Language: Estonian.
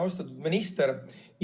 Austatud minister!